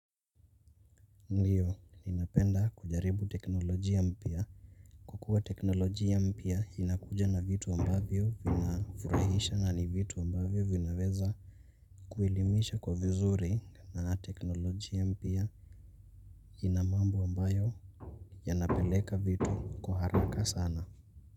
Ndio, ninapenda kujaribu Teknoloji Ampia. Kukua Teknoloji mpia inakuja na vitu ambavyo vina furahisha na vitu ambavyo vinaweza kuilimisha kwa vizuri. Teknoloji mpya ina mambo ambayo yana peleka vitu kuharaka sana.